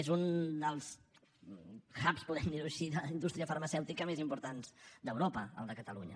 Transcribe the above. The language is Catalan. és un dels hubs podem dir ho així de la indústria farmacèutica més importants d’europa el de catalunya